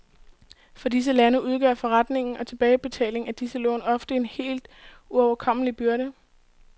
For disse lande udgør forrentning og tilbagebetaling af disse lån ofte en helt uoverkommelig byrde.